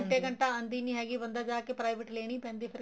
ਘੰਟਾ ਘੰਟਾ ਆਂਦੀ ਨਹੀਂ ਹੈਗੀ ਬੰਦਾ ਜਾਕੇ private ਲੈਣੀ ਪੈਂਦੀ ਏ ਫ਼ਿਰ